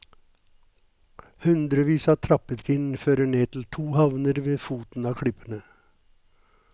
Hundrevis av trappetrinn fører ned til to havner ved foten av klippene.